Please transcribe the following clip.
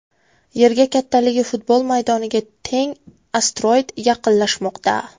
Yerga kattaligi futbol maydoniga teng asteroid yaqinlashmoqda.